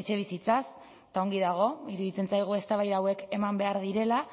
etxebizitzaz eta ongi dago iruditzen zaigu eztabaida hauek eman behar direla